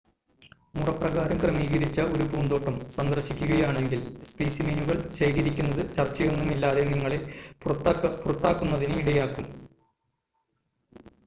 "മുറപ്രകാരം ക്രമീകരിച്ച ഒരു പൂന്തോട്ടം സന്ദർശിക്കുകയാണെങ്കിൽ "സ്‌പെസിമെനുകൾ" ശേഖരിക്കുന്നത് ചർച്ചയൊന്നുമില്ലാതെ നിങ്ങളെ പുറത്താക്കുന്നതിന് ഇടയാക്കും.